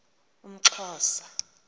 umxhosa